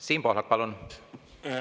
Siim Pohlak, palun!